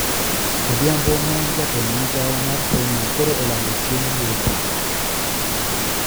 Odhiambo ma en Ja-tend migao mar somo koro olando chieng` yepo.